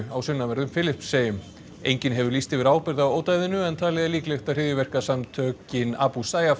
á sunnanverðum Filippseyjum enginn hefur lýst yfir ábyrgð á en talið er líklegt að hryðjuverkasamtökin Abu